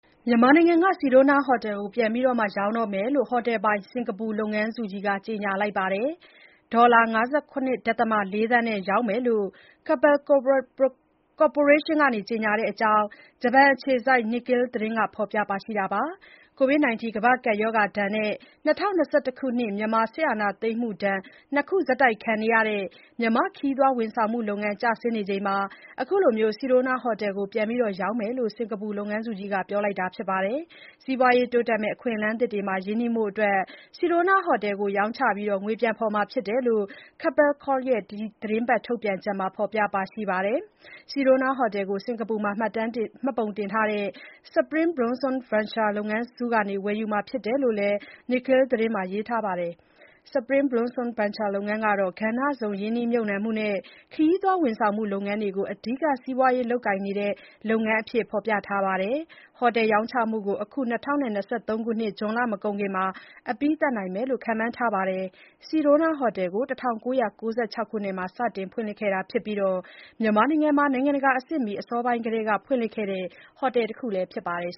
မြန်မာနိုင်ငံက ဆီဒိုးနားဟိုတယ်ကို ပြန်ရောင်းတော့မယ်လို့ ဟိုတယ်ပိုင် စင်္ကာပူလုပ်ငန်းစုကြီးက ကြေညာလိုက်ပါတယ်။ ဒေါ်လာ ၅၇.၄ သန်းနဲ့ ရောင်းတော့မယ်လို့ Keppel ကော်ပိုရေးရှင်းက ကြေညာတဲ့အကြောင်း ဂျပန်အခြေစိုက် Nikkei သတင်းက ဖော်ပြလိုက်တာပါ။ ကိုဗစ်-19 ကမ္ဘာ့ကပ်ရောဂါဒဏ်နဲ့ ၂၀၂၁ ခုနှစ် မြန်မာစစ်အာဏာသိမ်းမှုဒဏ် ၂ ခု ဆက်တိုက်ခံနေရတဲ့ မြန်မာ့ခရီးသွားဝန်ဆောင်မှုလုပ်ငန်း ကျဆင်းနေချိန်မှာ အခုလို ဆီဒိုးနားဟိုတယ်ကို ပြန်ရောင်းမယ်လို့ စင်္ကာပူလုပ်ငန်းကြီးက ပြောလိုက်တာပါ။ စီးပွားရေးတိုးတက်မယ့် အခွင့်အလမ်းသစ်တွေမှာ ရင်းနှီးဖို့ ဆီဒိုးနားဟိုတယ်ကို ရောင်းချ ငွေဖော်မှာဖြစ်တယ်လို့ Keppel Corp ရဲ့ ဒီသီတင်းပါတ်ထုတ်ပြန်ချက်မှာ ဖော်ပြထားပါတယ်။ ဆီဒိုနားဟိုတယ်ကို စင်္ကာပူမှာ မှတ်ပုံတင်ထားတဲ့ Spring Blossom Ventures လုပ်ငန်းစုက ဝယ်ယူမှာဖြစ်တယ်လို့လည်း Nikkei သတင်းထဲမှာ ရေးထားပါတယ်။ Spring Blossom Ventures လုပ်ငန်းကတော့ ကဏ္ဍစုံရင်းနှီးမြုပ်နှံမှုနဲ့ ခရီးသွားဝန်ဆောင်မှုလုပ်ငန်းတွေကို အဓိက စီးပွားရေးလုပ်ကိုင်နေတဲ့ လုပ်ငန်းအဖြစ် ဖော်ပြထားပါတယ်။ ဟိုတယ်ရောင်းချမှုကို အခု ၂၀၂၃ ဇွန်လမကုန်ခင် အပြီးသတ်နိုင်တယ်လို့ ခန့်မှန်းထားပါတယ်။ ဆီဒိုးနားဟိုတယ်ကို ၁၉၉၆ ခုနှစ်မှာ စတင်ဖွင့်ခဲ့တာဖြစ်ပြီး မြန်မာနိုင်ငံမှာ နိုင်ငံတကာအဆင့်မီ အစောပိုင်းထဲက ဖွင့်လှစ်ခဲ့တဲ့ ဟိုတယ်တခုဖြစ်ပါတယ်